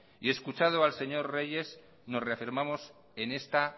y escuchado al señor reyes nos reafirmamos en esta